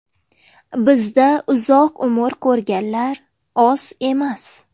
Bizda uzoq umr ko‘rganlar oz emas.